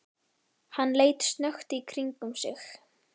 Hann leit snöggt í kringum sig.